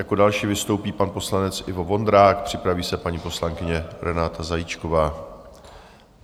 Jako další vystoupí pan poslanec Ivo Vondrák, připraví se paní poslankyně Renáta Zajíčková.